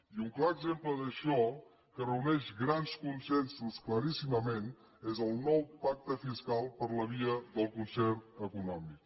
i un clar exemple d’això que reuneix grans consensos claríssimament és el nou pacte fiscal per la via del concert econòmic